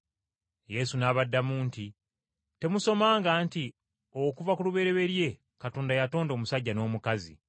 Yesu n’abaddamu nti, “Temusomanga nti, ‘Okuva ku lubereberye Katonda yatonda omusajja n’omukazi,’